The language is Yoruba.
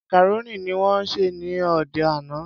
Macaroni ni wón sè ní òde àná.